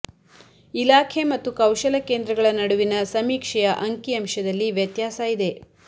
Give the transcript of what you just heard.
ಇಲಾಖೆ ಮತ್ತು ಕೌಶಲ ಕೇಂದ್ರಗಳ ನಡುವಿನ ಸಮೀಕ್ಷೆಯ ಅಂಕಿಅಂಶದಲ್ಲಿ ವ್ಯತ್ಯಾಸ ಇದೆ